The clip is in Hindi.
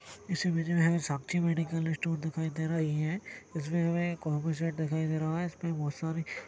इस इमेज मे हमे साक्षी मेंडिकल स्टोर दिखाई दे रही है इसमें हमें एक और भी शॉप दिखाई दे रहा है इसमें बहुत सारे--